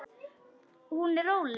Hún er róleg.